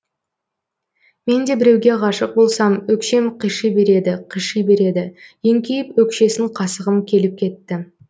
мен де біреуге ғашық болсам өкшем қыши береді қыши береді еңкейіп өкшесін қасығым келіп кетті